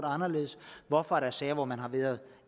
anderledes hvorfor er der sager hvor man har været